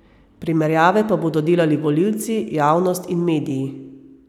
Primerjave pa bodo delali volilci, javnost in mediji.